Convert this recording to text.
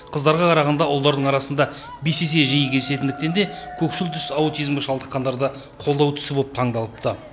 қыздарға қарағанда ұлдардың арасында бес есе жиі кездесетіндіктен де көкшіл түс аутизмге шалыққандарды қолдау түсі боп таңдалыпты